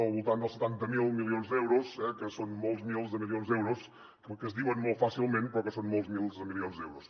del voltant dels setanta miler milions d’euros que són molts milers de milions d’euros que es diuen molt fàcilment però que són molts milers de milions d’euros